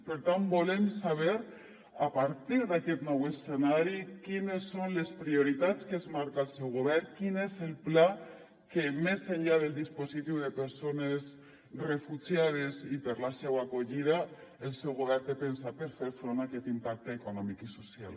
per tant volem saber a partir d’aquest nou escenari quines són les prioritats que es marca el seu govern quin és el pla que més enllà del dispositiu de persones refugiades i per a la seua acollida el seu govern té pensat per fer front a aquest impacte econòmic i social